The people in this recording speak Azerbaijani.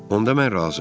Onda mən razı.